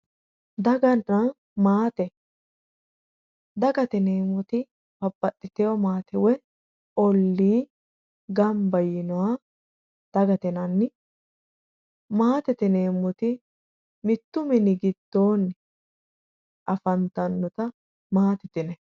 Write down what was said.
Daganna maate, dagate yineemmoti babbaxitino maate woyi olli gamba yiinoha dagate yinnanni maatete yineemmoti mittu mini giddonni afantanotta maatete yineemmo.